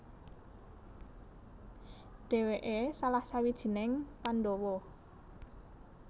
Dhèwèké salah sawijining Pandhawa